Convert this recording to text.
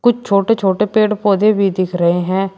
कुछ छोटे छोटे पेड़ पौधे भी दिख रहे हैं।